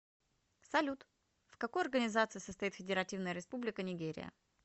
салют в какой организации состоит федеративная республика нигерия